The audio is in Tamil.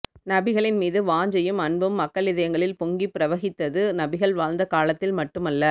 நபிகளின் மீது வாஞ்சையும் அன்பும் மக்களிதயங்களில் பொங்கிப் பிரவகித்தது நபிகள் வாழ்ந்த காலத்தில் மட்டுமல்ல